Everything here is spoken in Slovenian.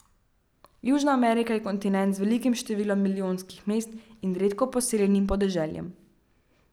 Južna Amerika je kontinent z velikim številom milijonskih mest in redko poseljenim podeželjem.